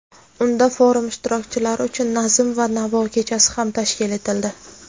Unda forum ishtirokchilari uchun "Nazm va navo kechasi" ham tashkil etildi.